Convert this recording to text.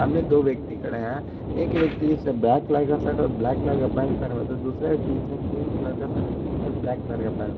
इसमें दो व्यक्ति खड़े हैं एक व्यक्ति जिसने ब्लैक कलर का शर्ट और ब्लैक कलर का पैंट पहना हुआ है तो दूसरे व्यक्ति जिसने क्रीम कलर का शर्ट और ब्लैक कलर का पैंट --